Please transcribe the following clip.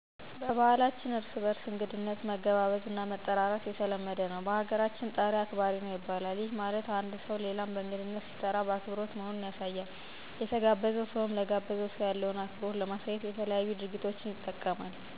በባህላችን እርስ በርስ እንግድነት መገባበዝ እና መጠራራት የተለመደ ነው። በሀገራችን "ጠሪ አክባሪ ነው " ይባላል፤ ይህ ማለት አንድ ሠው ሌላን በእንግድነት ሲጠራ አክብሮት መሆኑን ያሳያል። የተጋበዘውም ሰው ለጋበዘው ሰው ያለውን አክብሮት ለማሳየት የተለያዩ ድርጊቶችን ይጠቀማል። ከነዛም መካከል ለጋባዡ የሚመጥን አለባበስን በመልበስ፣ የጥሪውን ሰዓት በማክበር እና ለጠራው ሰው ይመጥናል ብሎ ያሰበውን ስጦታ ይዞ በመሄድ አክብሮቱን ይገልፃል።